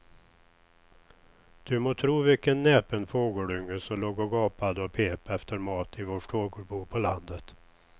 Du må tro vilken näpen fågelunge som låg och gapade och pep efter mat i vårt fågelbo på landet.